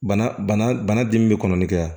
Bana bana bana dimi be kɔnɔni kɛ